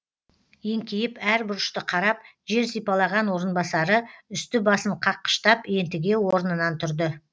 еңкейіп әр бұрышты қарап жер сипалаған орынбасары үсті басын қаққыштап ентіге орнынан тұрды